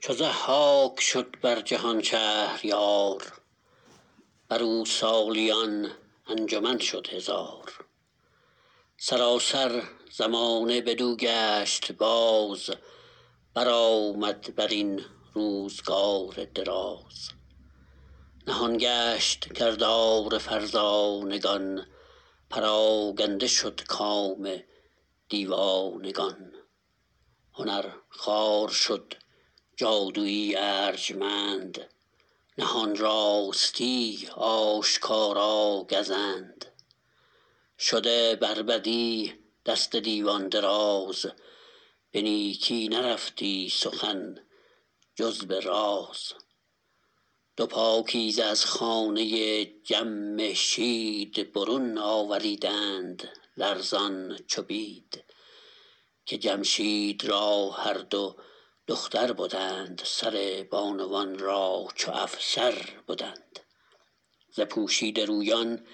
چو ضحاک شد بر جهان شهریار بر او سالیان انجمن شد هزار سراسر زمانه بدو گشت باز برآمد بر این روزگار دراز نهان گشت کردار فرزانگان پراگنده شد کام دیوانگان هنر خوار شد جادویی ارجمند نهان راستی آشکارا گزند شده بر بدی دست دیوان دراز به نیکی نرفتی سخن جز به راز دو پاکیزه از خانه جمشید برون آوریدند لرزان چو بید که جمشید را هر دو دختر بدند سر بانوان را چو افسر بدند ز پوشیده رویان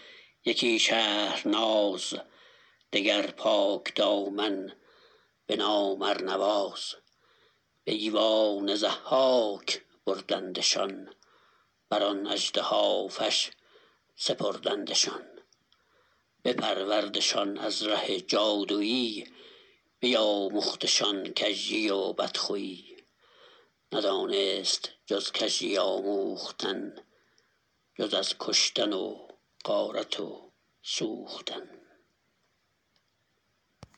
یکی شهرناز دگر پاکدامن به نام ارنواز به ایوان ضحاک بردندشان بر آن اژدهافش سپردندشان بپروردشان از ره جادویی بیاموختشان کژی و بدخویی ندانست جز کژی آموختن جز از کشتن و غارت و سوختن